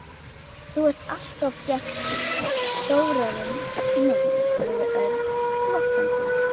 Þú ert alltof bjartsýnn, Þórarinn minn sagði Örn glottandi.